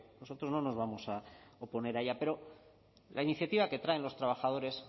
nosotros no nos vamos a oponer a ella pero la iniciativa que traen los trabajadores